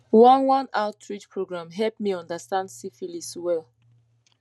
one one outreach program help me understand syphilis well